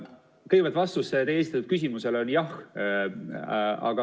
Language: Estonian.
Kõigepealt, vastus teie esitatud küsimusele on jah.